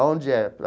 Aonde é?